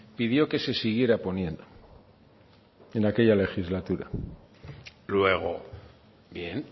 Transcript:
pidió que se siguiera poniendo en aquella legislatura luego bien